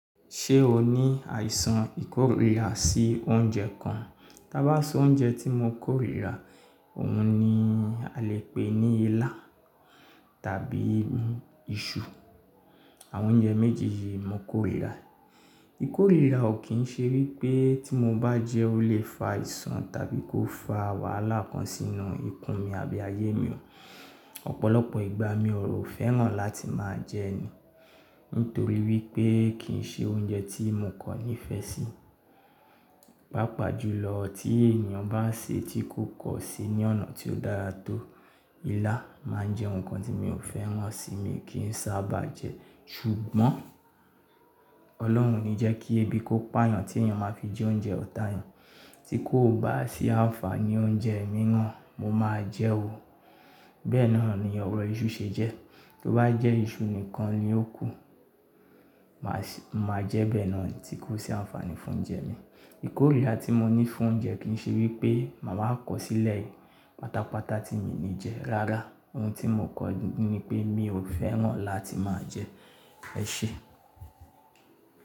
Ṣé o ní àìsàn ìkórìíra sí oúnjẹ kan? Tá bá sọ oúnjẹ tí mo kórìíra, òhun ni a le pè ní ilá tàbí iṣu. Àwọn oúnjẹ méjì yìí mo kórìíra. Ìkórìíra ò kí ń ṣe wípé tí mo bá jẹ́, ó lè fa àìsàn tàbí kó fa wàhálà kan sínú ikún mi àbí ayé mi o. Ọ̀pọ̀lọpọ̀ ìgbà mi ò rò fẹ́ràn láti máa jẹ Nítorí wípé kì ń ṣe oúnjẹ tí mo kọ́ ní ìfẹ́ sí. Pápá jùlọ tí ènìyàn bá ṣe tí kòkọ́ sí ní ọ̀nà tí ó dára tó. Ilá máa ń jẹ́ ohun kan tí mi ò fẹ́ràn síi, mi kì ń sábà jẹ ẹ́. Ṣùgbọ́n Ọlọ́run ní jẹ́ kí ebi kó pà'yàn tí ènìyàn máa fi jẹ oúnjẹ ọ̀tá ẹni tí kò bá sí àǹfààní oúnjẹ mìíràn, mo máa jẹ o. Bẹ́ẹ̀ náà ni ọ̀rọ̀ iṣu ṣe jẹ́. Tí o bá jẹ iṣu nìkan ni ó kù. Màá jẹ bẹ́ẹ̀ náà tí kò sí àǹfààní fún oúnjẹ mi. Ìkórìíra tí mo ní fún oúnjẹ kì ń ṣe wípé màá kọ̀ sílẹ̀ páta páta tí mi ní jẹ rárá. Ohun tí mo kọ ní pé mi ò fẹ́ràn láti máa jẹ ẹ́ se.